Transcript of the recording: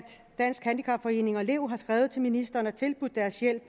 dansk handicapforening og lev har skrevet til ministeren og tilbudt deres hjælp